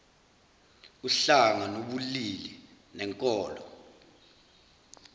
uhlanga nobulili nenkolo